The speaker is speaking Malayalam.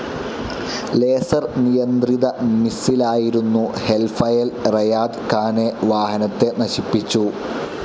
ലേസർ നിയന്ത്രിത മിസ്സിലായിരുന്ന ഹെൽഫയൽ റെയാദ് ഖാനെ വാഹനത്തെ നശിപ്പിച്ചു.